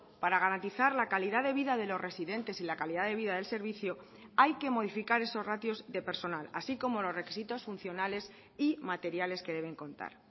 para garantizar la calidad de vida de los residentes y la calidad de vida del servicio hay que modificar esos ratios de personal así como los requisitos funcionales y materiales que deben contar